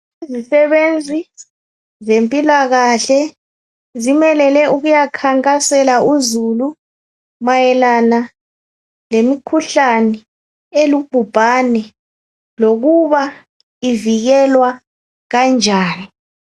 Izisebenzi zempilakahle , zimelele ukuyakhankasela izulu .Mayelana lemikhuhlane elubhubhane ,lokuba ivikelwa kanjani.